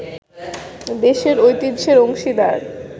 দেশের ঐতিহ্যের অংশীদার